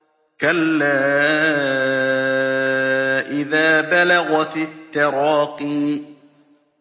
كَلَّا إِذَا بَلَغَتِ التَّرَاقِيَ